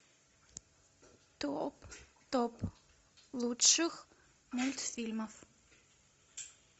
топ топ лучших мультфильмов